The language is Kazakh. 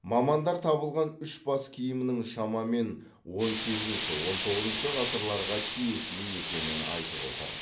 мамандар табылған үш бас киімнің шамамен он сегізінші он тоғызыншы ғасырларға тиесілі екенін айтып отыр